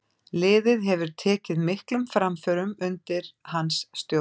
Liðið hefur tekið miklum framförum undir hans stjórn.